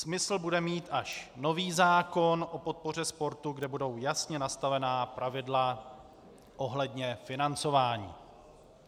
Smysl bude mít až nový zákon o podpoře sportu, kde budou jasně nastavená pravidla ohledně financování.